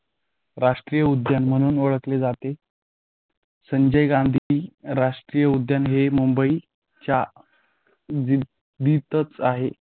राष्ट्रीय उद्यान म्हणून ओळखले जाते संजय गांधी राष्ट्रीय उद्यान हे मुंबईच्या तच आहे.